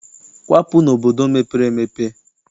Kwapụ n'obodo mepere emepe!